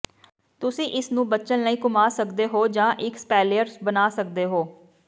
ਤੁਸੀਂ ਇਸ ਨੂੰ ਬਚਣ ਲਈ ਘੁੰਮਾ ਸਕਦੇ ਹੋ ਜਾਂ ਇੱਕ ਸਪੈਲੀਅਰ ਬਣਾ ਸਕਦੇ ਹੋ